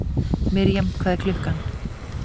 Mirjam, hvað er klukkan?